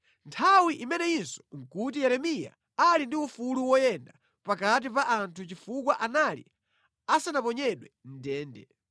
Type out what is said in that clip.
Nthawi imeneyinso nʼkuti Yeremiya ali ndi ufulu woyenda pakati pa anthu chifukwa anali asanaponyedwe mʼndende.